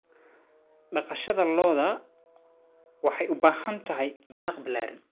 Dhaqashada lo'da lo'da waxay u baahan tahay daaq ballaaran.